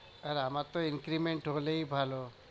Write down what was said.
আর আমার তো increment হলেই ভালো।